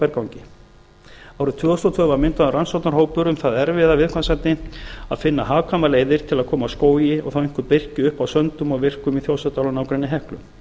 berangri árið tvö þúsund og tvö var myndaður rannsóknarhópur um það erfiða viðfangsefni að finna hagkvæmar leiðir til að koma skógi og þá einkum birki upp á söndum og vikrum í þjórsárdal og nágrenni heklu